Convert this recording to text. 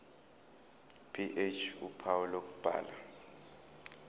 ph uphawu lokubhala